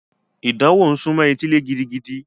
Ìdánwò ń sunmọ́ etílé gidigidi.